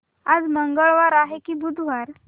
आज मंगळवार आहे की बुधवार